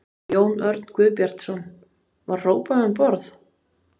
Jón Örn Guðbjartsson: Var hrópað um borð?